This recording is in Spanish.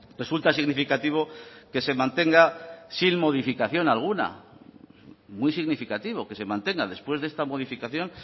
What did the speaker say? resulta significativo que se mantenga sin modificación alguna muy significativo que se mantenga después de esta modificación